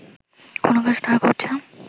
কোনো কাজ তারা করছে